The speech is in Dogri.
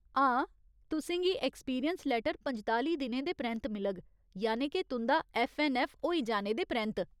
हां, तुसें गी ऐक्सपीरियंस लैटर पंजताली दिनें दे परैंत्त मिलग, यानि के तुं'दा ऐफ्फ ऐन्न ऐफ्फ होई जाने दे परैंत्त।